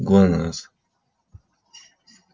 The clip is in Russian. глонассс